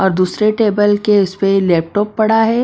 और दूसरे टेबल के इसपे लैपटॉप पड़ा है।